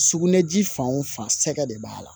Sugunɛji fan o fan sɛgɛ de b'a la